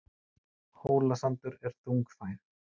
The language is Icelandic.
Hólasandur er þungfær